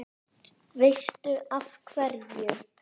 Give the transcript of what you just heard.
Veistu af hverju?